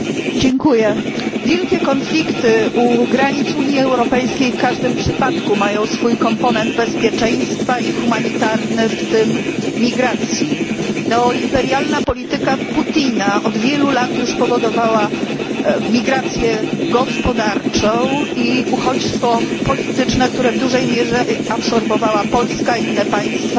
Panie Przewodniczący! Wielkie konflikty u granic Unii Europejskiej w każdym przypadku mają swój komponent bezpieczeństwa i humanitarny, w tym migracji. Neoimperialna polityka Putina od wielu lat już powodowała migrację gospodarczą i uchodźstwo polityczne, które w dużej mierze absorbowała Polska i inne państwa